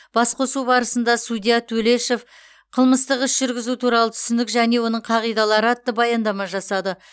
басқосу барысында судья тулешов қылмыстық іс жүргізу туралы түсінік және оның қағидалары атты баяндама жасады